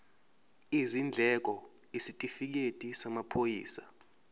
izindleko isitifikedi samaphoyisa